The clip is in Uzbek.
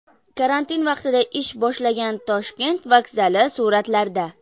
Karantin vaqtida ish boshlagan Toshkent vokzali suratlarda.